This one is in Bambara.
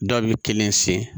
Dɔ bɛ kelen sen